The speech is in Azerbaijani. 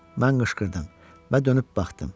Mən qışqırdım və dönüb baxdım.